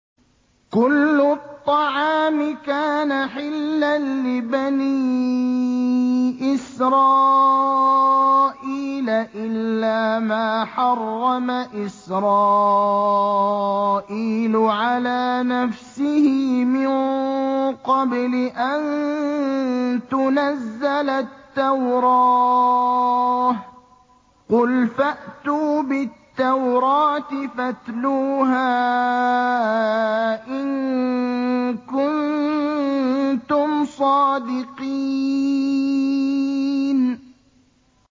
۞ كُلُّ الطَّعَامِ كَانَ حِلًّا لِّبَنِي إِسْرَائِيلَ إِلَّا مَا حَرَّمَ إِسْرَائِيلُ عَلَىٰ نَفْسِهِ مِن قَبْلِ أَن تُنَزَّلَ التَّوْرَاةُ ۗ قُلْ فَأْتُوا بِالتَّوْرَاةِ فَاتْلُوهَا إِن كُنتُمْ صَادِقِينَ